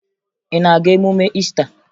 Ị na-aga emume Iista?